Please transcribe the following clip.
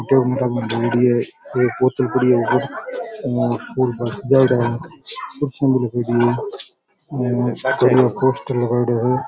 कुर्सियां भी लगायेडी है और एक पोस्टर लगायेडो है।